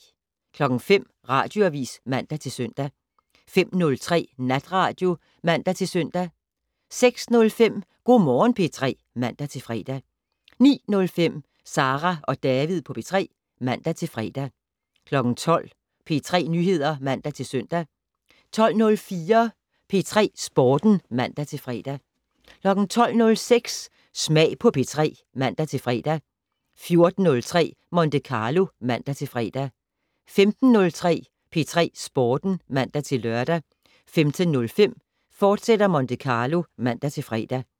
05:00: Radioavis (man-søn) 05:03: Natradio (man-søn) 06:05: Go' Morgen P3 (man-fre) 09:05: Sara og David på P3 (man-fre) 12:00: P3 Nyheder (man-søn) 12:04: P3 Sporten (man-fre) 12:06: Smag på P3 (man-fre) 14:03: Monte Carlo (man-fre) 15:03: P3 Sporten (man-lør) 15:05: Monte Carlo, fortsat (man-fre)